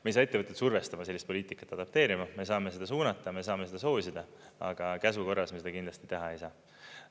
Me ei saa ettevõtteid survestada sellist poliitikat adopteerima, me saame seda suunata, me saame seda soosida, aga käsu korras me seda kindlasti teha ei saa.